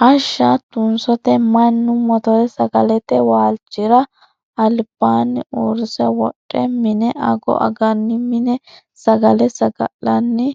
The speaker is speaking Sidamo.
Hashsha tunsote mannu mottora sagalete waalchira albaani uurrise wodhe mine ago aganni mine sagale saga'lanni